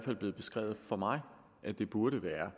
er blevet beskrevet for mig at det burde være